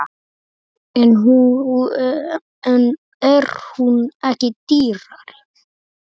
En er hún ekki dýrari?